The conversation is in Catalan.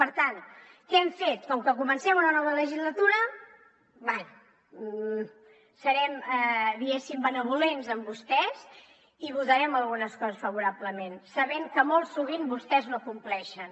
per tant què hem fet com que comencem una nova legislatura bé serem diguéssim benvolents amb vostès i votarem algunes coses favorablement sabent que molt sovint vostès no compleixen